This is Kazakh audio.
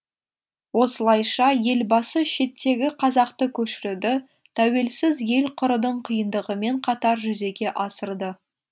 осылайша елбасы шеттегі қазақты көшіруді тәуелсіз ел құрудың қиындығымен қатар жүзеге асырды